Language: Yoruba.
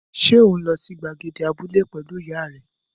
Ṣé ò ń lọ sí gbàgede abúlé pẹ̀lú ìyá rẹ?